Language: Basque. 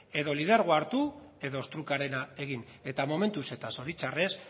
edo lidergoa hartu edo ostrukarena egin eta momentuz eta zoritxarrez